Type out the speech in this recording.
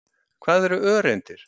Hvað eru öreindir?